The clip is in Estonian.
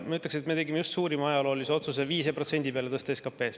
Ma ütleks, et me tegime just suurima ajaloolise otsuse tõsta 5% peale SKP-st.